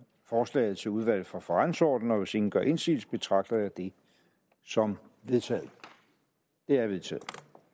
forslaget til udvalget for forretningsordenen og hvis ingen gør indsigelse betragter jeg det som vedtaget det er vedtaget